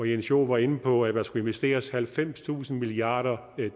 jens joel var inde på at der skulle investeres halvfemstusind milliarder